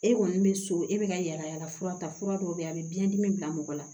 E kɔni bɛ so e bɛ ka yalayala fura ta fura dɔw bɛ yen a bɛ biɲɛdimi bila mɔgɔ la